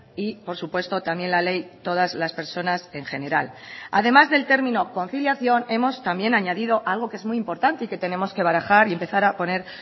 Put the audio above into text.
y por supuesto también la ley todas las personas en general además del término conciliación hemos también añadido algo que es muy importante y que tenemos que barajar y empezar a poner